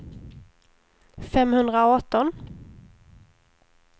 femhundraarton